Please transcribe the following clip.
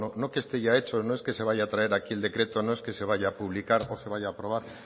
no que esté ya hecho no es que se vaya a traer aquí el decreto no es que se vaya a publicar o se vaya a aprobar